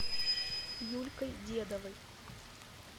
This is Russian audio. юлькой дедовой